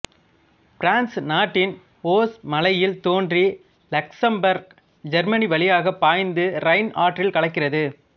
France நாட்டின் Vosges மலையில் தோன்றி லக்சம்பர்க் ஜெர்மனி வழியாகப் பாய்ந்து ரைன் ஆற்றில் கலக்கிறது